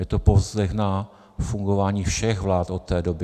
Je to povzdech na fungování všech vlád od té doby.